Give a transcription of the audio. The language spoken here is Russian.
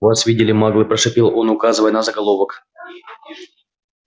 вас видели маглы прошипел он указывая на заголовок